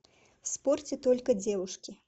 в спорте только девушки